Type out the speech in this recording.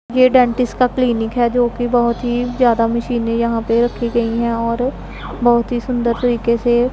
ये डेंटिस्ट का क्लिनिक है जोकि बहोत ही ज़्यादा मशीनें यहां पे रखी गयी है और बहुत ही सुंदर तरीके से--